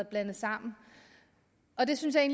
blandet sammen og det synes jeg